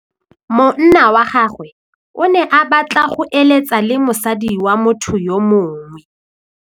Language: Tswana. Monna wa gagwe o ne a batla go êlêtsa le mosadi wa motho yo mongwe.